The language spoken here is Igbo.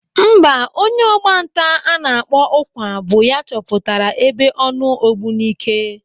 Mba, onye ọgbanta a na-akpọ Ụkwa bụ ya chọpụtara ebe ọnụ Ógbùníkè.